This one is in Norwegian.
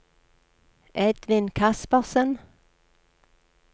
Edvin Kaspersen